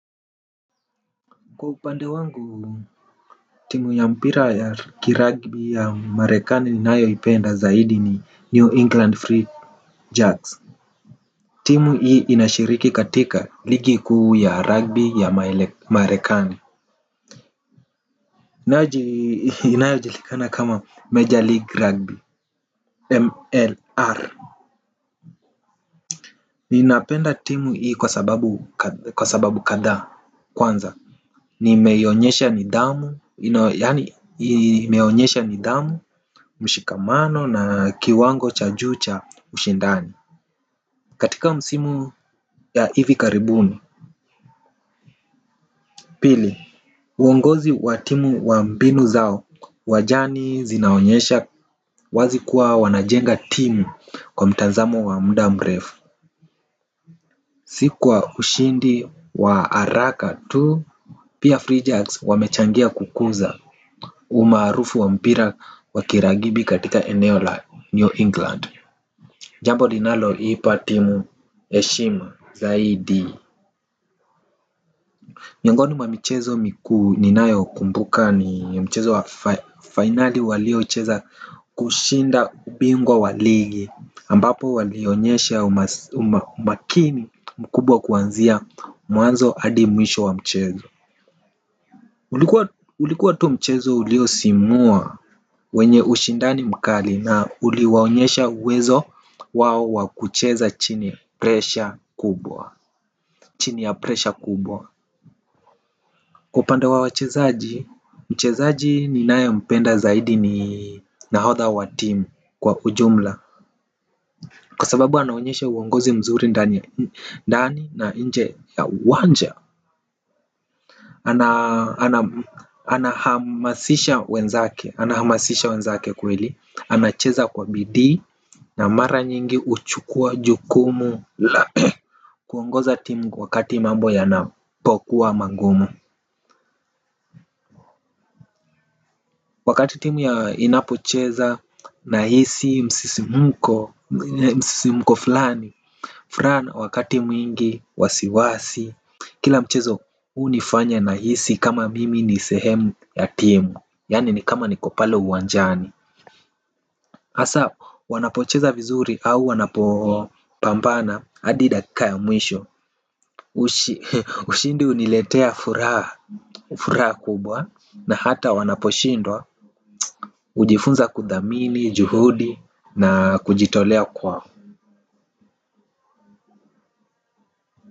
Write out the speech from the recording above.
Kwa upande wangu timu ya mpira ya ruggby ya marekani nayoipenda zaidi ni new england free jacks, timu hii inashiriki katika ligi kuu ya Ruggby ya marekani inayo jilikana kama major league rugby MLR ninapenda timu hii kwa sababu kwa sababu kadhaa kwanza imeonyesha nidhamu, mshikamano na kiwango cha juu cha ushindani. Katika msimu ya ivi karibuni Pili Uongozi wa timu wa mbinu zao, uwanjani zinaonyesha wazi kuwa wanajenga timu kwa mtanzamo wa mda mrefu. Si kwa ushindi wa haraka tu. Pia Free Jacks wamechangia kukuza umarufu wampira wakiragibi katika eneo la New England. Jambo linalo ipa timu heshima zaidi miongoni mwa michezo mikuu ninayo kumbuka ni mchezo wa fainali walio cheza kushinda ubingwa wa ligi ambapo walionyesha umakini mkubwa kuanzia mwanzo hadi mwisho wa mchezo. Ulikuwa tu mchezo uliosimua. Wenye ushindani mkali na uliwaonyesha uwezo wao wakucheza chini ya presha kubwa upande wa wachezaji, mchezaji ninaye mpenda zaidi ni nahodha wa timu kwa ujumla. Kwa sababu anaonyesha uongozi mzuri ndani na njee ya uwanja. Ana hamasisha wenzake. Ana hamasisha wenzake kweli. Anacheza kwa Bidii Na mara nyingi huchukua jukumu. Kuongoza timu wakati mambo yanapokuwa magumu. Wakati timu ya inapocheza nahisi msisimko. Msisimko fulani. Furaha wakati mwingi wasiwasi. Kila mchezo hunifanya nahisi kama mimi ni sehemu ya timu. Yani ni kama niko pale uwanjani hasa wanapocheza vizuri au wanapopampana hadi dakika ya mwisho. Ushindi huniletea furaha. Furaha kubwa na hata wanaposhindwa. Hujifunza kuthamini, juhudi na kujitolea kwao.